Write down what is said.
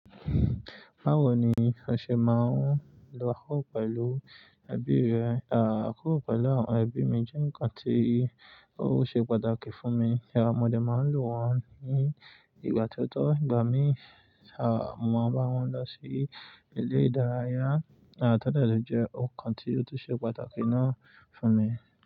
Báwo ni o ṣe máa ń lo akọ pẹ̀lú ẹbí rẹ? Àkoko pẹ̀lú àwọn ẹbí mi jẹ́ ǹkan tí ó ṣe pàtàkì fún mi. Àwọn ọmọdé máa ń lò wọ́n ní ìgbà tooto. Ìgbà mí mo mọ̀ bá wọn lọ sí ilé ìdárayá, to de jẹ ókan tí ó tun ṣe pàtàkì náà fún mi.